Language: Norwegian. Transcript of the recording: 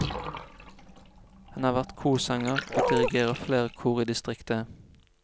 Han har vært korsanger, og dirigerer flere kor i distriktet.